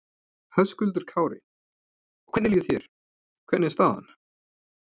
Höskuldur Kári: Og hvernig líður þér, hvernig er staðan?